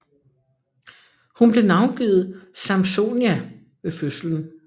Hun blev navngivet Sampsonia ved fødslen